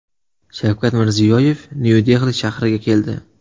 Shavkat Mirziyoyev Nyu-Dehli shahriga keldi.